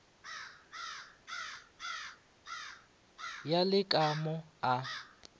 ya le ka mo a